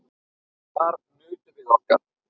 Þar nutum við okkar.